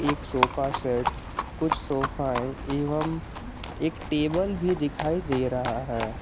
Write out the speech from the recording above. एक sofa set कुछ sofa है एवं एक टेबल भी दिखाई दे रहा है।